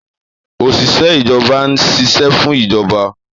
Òṣìṣẹ́ ìjọba ń ṣiṣẹ́ fún ìjọba